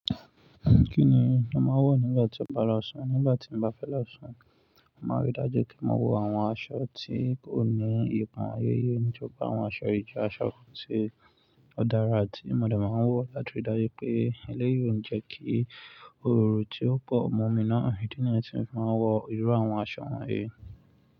Kí ni o màá n wọ̀ nígbà tí o bá lọ́ ṣùn? Nígbà tí mo bá fẹ́ lọ́ṣù, màá rí dájú pé màá wo àwọn aṣọ tí ó ní ìpàn-ayẹyẹ ní ju àwọn aṣọ ìdíje aṣọ kan tí ó dára àti ìmọ̀dàn màá wọ̀ láti rí dájú pé eléyìí ó ń jẹ́ kí orò tí ó pọ̀ mọ́ mi náà. Ìdí nìyẹn tí mo máa ń wọ irú àwọn aṣọ wọ̀nyí.